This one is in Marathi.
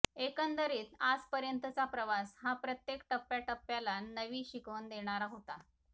एकंदरीत आजपर्यंतचा प्रवास हा प्रत्येक टप्प्याटप्प्याला नवी शिकवण देणारा होता